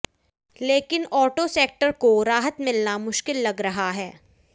लेकिन auto sector को राहत मिलना मुश्किल लग रहा है